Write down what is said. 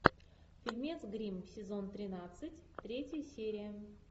фильмец гримм сезон тринадцать третья серия